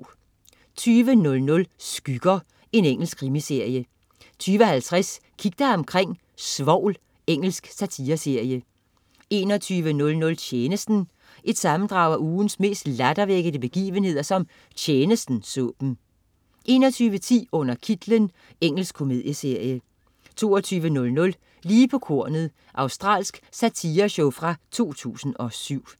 20.00 Skygger. Engelsk krimiserie 20.50 Kig dig omkring: Svovl. Engelsk satireserie 21.00 Tjenesten. Et sammendrag af ugens mest lattervækkende begivenheder, som "Tjenesten" så dem 21.10 Under kitlen. Engelsk komedieserie 22.00 Lige på kornet. Australsk satireshow fra 2007